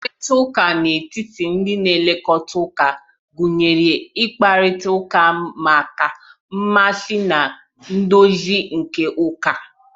Mkparịta ụka n'etiti ndi na elekata uka ga-agụnye ịkparịta ụka maka mmezi na ndozi nke ụka